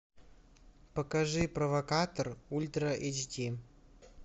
покажи провокатор ультра эйч ди